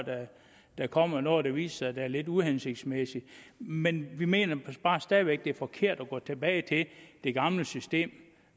der kommer noget der viser at det er lidt uhensigtsmæssigt men vi mener bare stadig væk at det er forkert at gå tilbage til det gamle system